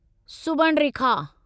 Subarnarekha